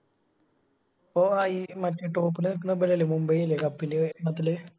അപ്പൊ ഈ മറ്റേ Top ല് നിക്കണേ ഇവലല്ലേ മുംബൈ അല്ലെ Cup ല്